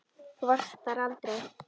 Þú varst aldrei þar.